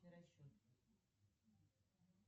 расчет